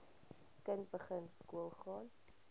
kind begin skoolgaan